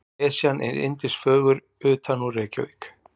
Esjan er yndisfögur utanúr Reykjavík.